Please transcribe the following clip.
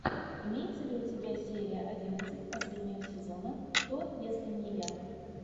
имеется ли у тебя серия одиннадцать последнего сезона кто если не я